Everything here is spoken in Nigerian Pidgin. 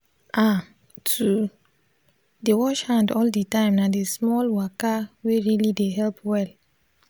ah to dey wash hand all the time na d small waka wey really dey help well